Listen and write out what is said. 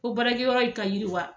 Fo baarakɛyɔrɔ in ka yiriwa